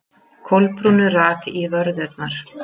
Kolbrúnu rak í vörðurnar.